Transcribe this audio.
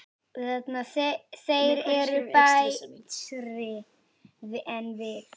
Þeir eru betri en við.